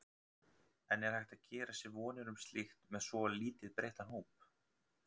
En er hægt að gera sér vonir um slíkt með svo lítið breyttan hóp?